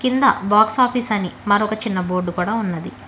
కింద box office అని మరొక చిన్న బోర్డు కూడా ఉన్నది.